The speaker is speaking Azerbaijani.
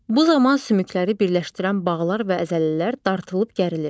Bu zaman sümükləri birləşdirən bağlar və əzələlər dartılıb gərilir.